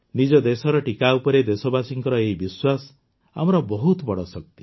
ନିଜ ଦେଶର ଟିକା ଉପରେ ଦେଶବାସୀଙ୍କ ଏହି ବିଶ୍ୱାସ ଆମର ବହୁତ ବଡ଼ ଶକ୍ତି